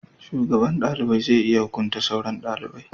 shugaban dalibai zai iya hukunta sauran dalibai